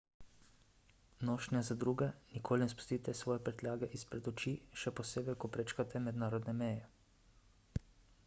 nošnja za druge – nikoli ne spustite svoje prtljage izpred oči še posebej ko prečkate mednarodne meje